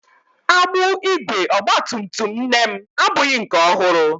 Agbụ ígwè ọgba tum tum nne m abụghị nke ọhụrụ.